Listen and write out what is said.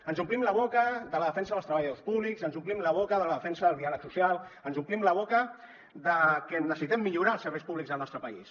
ens omplim la boca de la defensa dels treballadors públics ens omplim la boca de la defensa del diàleg social ens omplim la boca de que necessitem millorar els serveis públics al nostre país